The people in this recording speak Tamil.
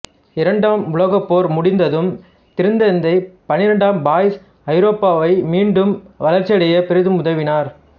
இரண்டாம் உலகப் போர் முடிந்ததும் திருத்தந்தை பன்னிரண்டாம் பயஸ் ஐரோப்பா மீண்டும் வளர்ச்சியடைய பெரிதும் உதவினார்